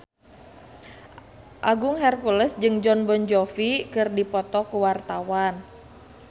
Agung Hercules jeung Jon Bon Jovi keur dipoto ku wartawan